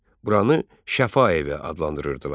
Buranı Şəfaevi adlandırırdılar.